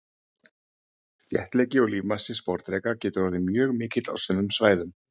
Þéttleiki og lífmassi sporðdreka getur orðið mjög mikill á sumum svæðum.